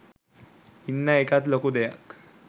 ඉන්න එකත් ලොකු දෙයක්.